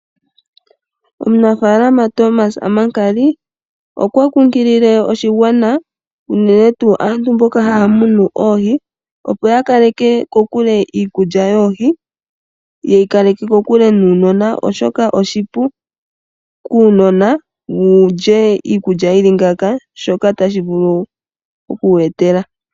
Omunafalama Thomas Amakali okwa kunkilile aakwashigwana unene tuu aantu mboka haya munu oohi, opo ya kaleke iikulya yoohi kokule naanona, oshoka oshipu kuunona wu lye iikulya yi li ngaaka notashi vulu okuya etela.